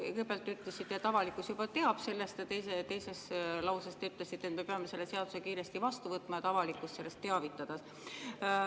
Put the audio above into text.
Kõigepealt te ütlesite, et avalikkus juba teab sellest, ja teises lauses te ütlesite, et me peame selle seaduse kiiresti vastu võtma, et avalikkust sellest teavitada.